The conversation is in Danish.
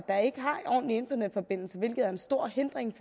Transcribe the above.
ordentlig internetforbindelse hvilket er en stor hindring